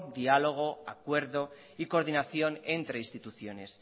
diálogo acuerdo y coordinación entre instituciones